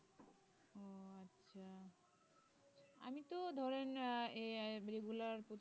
তো ধরেন আহ এ আই regular